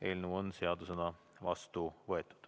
Eelnõu on seadusena vastu võetud.